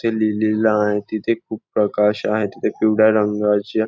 ते लिहिलेल आहे तिथे खूप प्रकाश आहे तिथे पिवळ्या रंगाच्या--